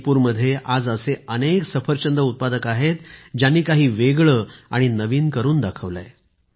मणिपूरमध्ये आज असे अनेक सफरचंद उत्पादक आहेत ज्यांनी काही वेगळे आणि नवीन करून दाखवले आहे